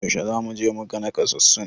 Yaushe zamu je muga nakasassun?